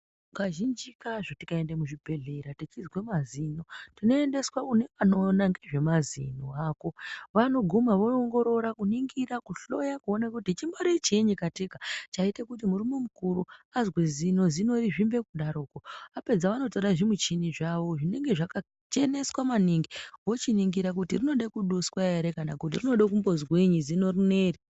Kazhinji kazvo tikaende muzvibhedhlera tichizwe mazino, tinoendeswa kune anoona ngezvemazino ako. Vanogona, voongorora kuningira kuhloya kuone kuti chimbori chiinyi kateka chaite kuti murume mukuru azwe zino, zino rizvimbe kudaroko. Apedza anotora zvimuchini zvawo zvinenge zvakacheneswa maningi, vochiningira kuti rinode kuduswa ere, kana kuti rinode kumbozwinyi zino rineri.